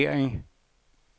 vurdering